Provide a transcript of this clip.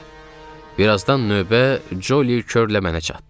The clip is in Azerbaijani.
Bir azdan növbə Coli Keörlə mənə çatdı.